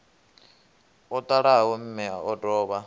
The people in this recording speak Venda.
o ṱalaho mme o dovha